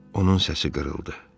Onun səsi qırıldı.